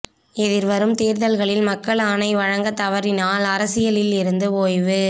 எதிர்வரும் தோ்தல்களில் மக்கள் ஆணை வழங்க தவறினால் அரசியலில் இருந்து ஓய்வு